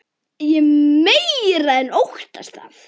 Ég meira en óttast það.